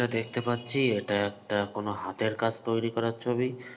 তা দেখতে পাচ্ছি এটা একটা কোনো হাতের কাজ তৈরি করার ছবি।